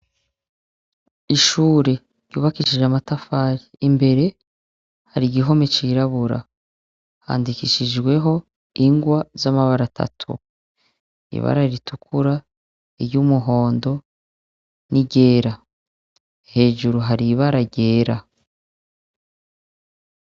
Ishure yubakishije amatafari imbere hari igihome cirabura handikishijweho ingwa z'amabara atatu ibara ritukura iryo umuhondo nigera hejuru hari ibara ryera.